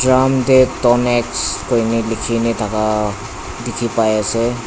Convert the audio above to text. drum tae tonex kuina likhina thaka dikhipaiase.